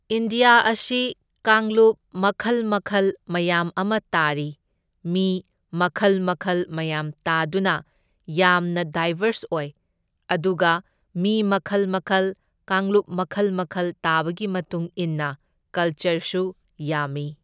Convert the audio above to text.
India ꯑꯁꯤ ꯀꯥꯡꯂꯨꯞ ꯃꯈꯜ ꯃꯈꯜ ꯃꯌꯥꯝ ꯑꯃ ꯇꯥꯔꯤ, ꯃꯤ ꯃꯈꯜ ꯃꯈꯜ ꯃꯌꯥꯝ ꯇꯥꯗꯨꯅ ꯌꯥꯝꯅ ꯗꯥꯏꯕꯔꯁ ꯑꯣꯏ, ꯑꯗꯨꯒ ꯃꯤ ꯃꯈꯜ ꯃꯈꯜ ꯀꯥꯡꯂꯨꯞ ꯃꯈꯜ ꯃꯈꯜ ꯇꯥꯕꯒꯤ ꯃꯇꯨꯡ ꯏꯟꯅ ꯀꯜꯆꯔꯁꯨ ꯌꯥꯝꯃꯤ꯫